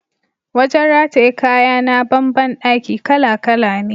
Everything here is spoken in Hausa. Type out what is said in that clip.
Wajen rataye kaya na ban ban daki kala-kala ne.